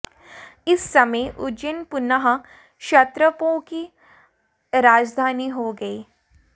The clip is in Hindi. इस समय उज्जैन पुनः क्षत्रपों की राजधानी हो गई